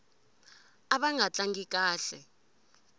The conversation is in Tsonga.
ava nga tlangi kahle